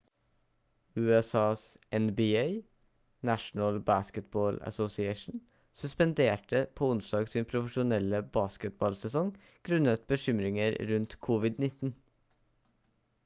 usas nba national basketball association suspenderte på onsdag sin profesjonelle basketballsesong grunnet bekymringer rundt covid-19